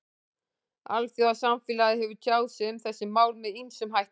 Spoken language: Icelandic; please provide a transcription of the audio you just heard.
Alþjóðasamfélagið hefur tjáð sig um þessi mál með ýmsum hætti.